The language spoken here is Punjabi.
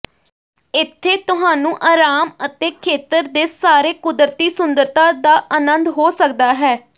ਇੱਥੇ ਤੁਹਾਨੂੰ ਆਰਾਮ ਅਤੇ ਖੇਤਰ ਦੇ ਸਾਰੇ ਕੁਦਰਤੀ ਸੁੰਦਰਤਾ ਦਾ ਆਨੰਦ ਹੋ ਸਕਦਾ ਹੈ